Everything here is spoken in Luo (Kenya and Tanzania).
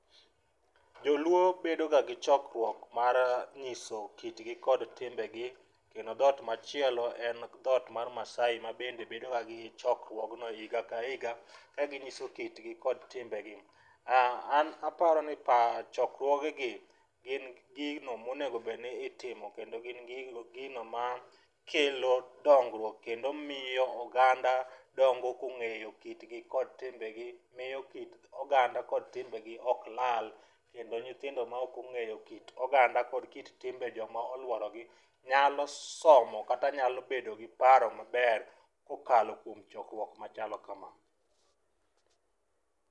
Joluo bendo ga gi chokruok mar nyiso kitgi kod timbe gi, kendo dhot machielo en dhot mar Maasai ma bende bedo ga gi chokruogno higa ka higa, ka ginyiso kitgi gi timbe gi. An aparo ni pa chokruoge gi gin gino monego bedni itimo, kendo gin gigo gino ma kelo dongruok kendo miyo oganda dongo kong'eyo kitgi kod timbe gi. Miyo kit oganda kod timbe gi ok lal, kendo nyithindo ma ok ong'eyo kit oganda kod kit timbe joma olworogi. Nyalo somo kata nyalo bedo gi paro maber, kokalo kuom chokruok machalo kama.